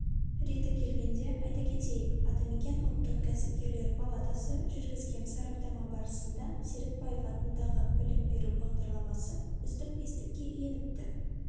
реті келгенде айта кетейік атамекен ұлттық кәсіпкерлер палатасы жүргізген сараптама барысында серікбаев атындағы білім беру бағдарламасы үздік бестікке еніпті